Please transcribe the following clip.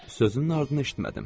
Sözünün ardını eşitmədim.